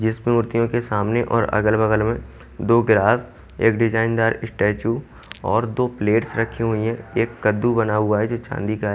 जिसमें मूर्तियों के सामने और अगल-बगल में दो गिलास एक डिजाइनदार स्टैचू और दो प्लेट्स रखी हुई है एक कद्दू बना हुआ है जो चांदी का है।